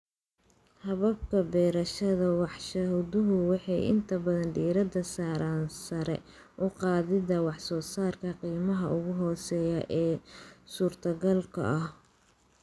Hababka beerashada warshaduhu waxay inta badan diiradda saaraan sare u qaadida wax soo saarka qiimaha ugu hooseeya ee suurtogalka ah.